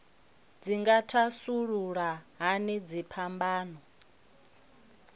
dzi nga thasulula hani dziphambano